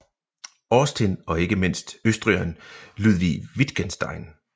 Austin og ikke mindst østrigeren Ludwig Wittgenstein